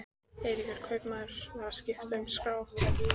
Eiríkur kaupmaður var að skipta um skrá.